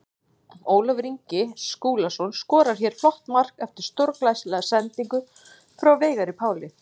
Ólafur Ingi Skúlason skorar hér flott mark eftir stórglæsilega sendingu frá Veigari Páli.